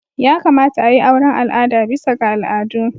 Ya kamata a yi auren al'ada bisa ga al'adu.